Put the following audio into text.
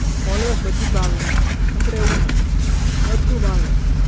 always બધું જ ભાવે એમ આપડે એવું નહિ બધું ભાવે એમ